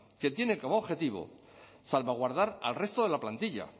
que tiene como objetivo salvaguardar al resto de la plantilla